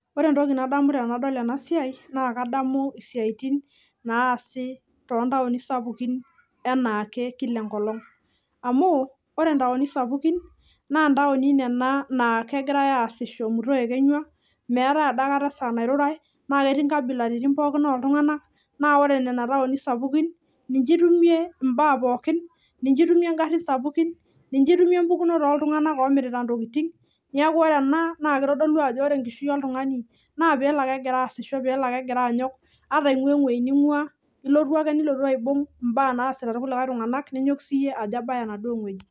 Ore entoki nadamu tenadol enasiai naa kadamu isiatin naasi toontaoni sapukin enaake amu ore ntaoni sapukin naa ntaoni nagirae aasisho muto ekenywa meetae adaakata saa nairurae naa ketii nkabilaritin pookin oltunganak , niche itumie imbaa pokin , niche itume ingarin sapukin , niche itumie mpukunot oltunganak omirtita ntokitin .